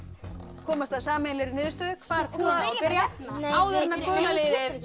komast að sameiginlegri niðurstöðu hvar kúlan á að byrja áður en að gula liðið